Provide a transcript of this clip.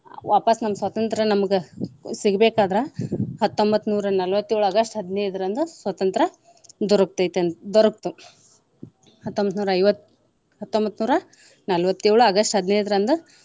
ವಾಪಾಸ್ಸ್ ನಮ್ಮ ಸ್ವಾತಂತ್ರ್ಯ ನಮಗ ಸಿಗಬೇಕಾದ್ರ ಹತ್ತೊಂಬತ್ನೂರಾ ನಲ್ವತ್ತೇಳು August ಹದಿನೈದರಂದು ಸ್ವತಂತ್ರ್ಯ ದೊರತೈತಿ ಅಂತ ದೊರಕ್ತು. ಹತ್ತೊಂಬತ್ನೂರಾ ಐವತ್ತ್ ಹತ್ತೊಂಬತ್ನೂರಾ ನಲ್ವತ್ತೇಳು August ಹದಿನೈದರಂದ.